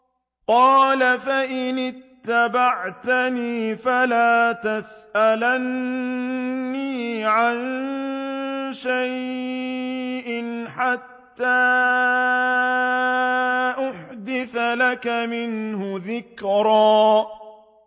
قَالَ فَإِنِ اتَّبَعْتَنِي فَلَا تَسْأَلْنِي عَن شَيْءٍ حَتَّىٰ أُحْدِثَ لَكَ مِنْهُ ذِكْرًا